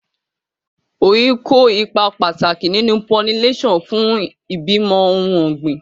Oyin kó ipa pàtàkì nínú pollination fún ìbímọ ohun ọ̀gbìn.